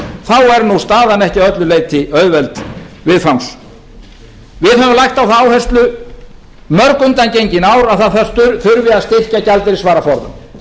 þá er staðan ekki að öllu leyti auðveld viðfangs við höfum lagt á það áherslu mörg undangengin ár að það þurfi að styrkja gjaldeyrisvaraforðann